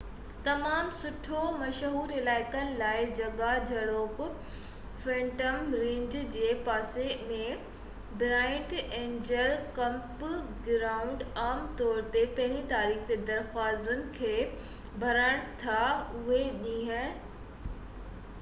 تمام گهڻو مشهور علائقن لاءِ جڳهہ جهڙوڪ فينٽم رينچ جي پاسي ۾ برائيٽ اينجل ڪيمپ گرائونڊ عام طور تي پهرين تاريخ تي درخواستن کي ڀرن ٿا اهو ڏينهن رزرويشن جي لاءِ کولي ڇڏيندا آهن